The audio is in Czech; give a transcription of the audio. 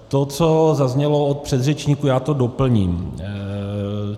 To, co zaznělo od předřečníků, já to doplním.